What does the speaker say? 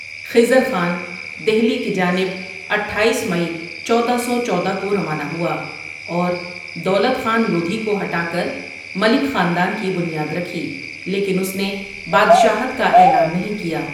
خضر خان دہلی کی جانب اٹھایس مئی، چودہ سو چودہ کو روانہ ہوا اور دولت خان لودھی کو ہٹا کر ملک خاندان کی بنیاد رکھی لیکن اس نے بادشاہت کا اعلان نہیں کیا ۔